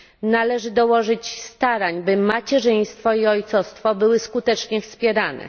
Należy dołożyć starań, by macierzyństwo i ojcostwo były skutecznie wspierane.